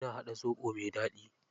Ina haɗa zoɓo mai daɗi.